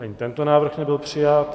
Ani tento návrh nebyl přijat.